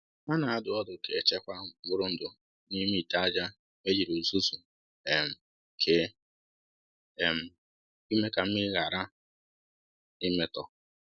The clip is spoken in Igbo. Ha na-adụ ọdụ ka e chekwaa mkpụrụ ndụ n’ime ite aja e jiri uzuzu um kee um ime ka mmiri ghara imetọ